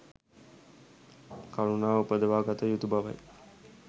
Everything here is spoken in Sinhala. කරුණාව උපදවා ගත යුතු බවයි.